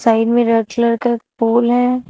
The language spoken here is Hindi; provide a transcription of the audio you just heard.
साइड में रेड कलर का एक पोल है।